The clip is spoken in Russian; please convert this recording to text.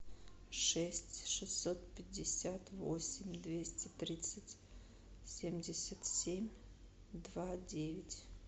шесть шестьсот пятьдесят восемь двести тридцать семьдесят семь два девять